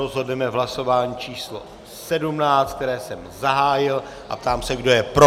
Rozhodneme v hlasování číslo 17, které jsem zahájil, a ptám se, kdo je pro.